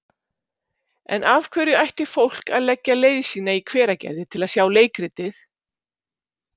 En af hverju ætti fólk að leggja leið sína í Hveragerði til að sjá leikritið?